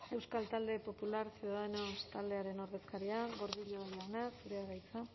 euskal talde popular ciudadanos taldearen ordezkaria gordillo jauna zurea da hitza